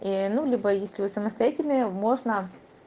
ээ ну либо если вы самостоятельные можно